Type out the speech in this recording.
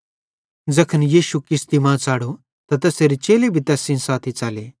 ज़ैखन यीशु किश्ती मां च़ढ़ो त तैसेरे चेले भी तैस सेइं साथी च़ले